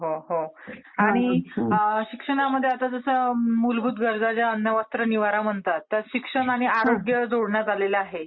आणि शिक्षणामध्ये आता जसं मूलभूत गरजा अन्न वस्त्र निवारा म्हणतात त्याला शिक्षण आणि आरोग्य जोडण्यात आलेलं आहे